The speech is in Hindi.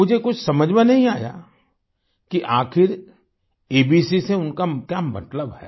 मुझे कुछ समझ में नहीं आया कि आखिर एबीसी से उनका क्या मतलब है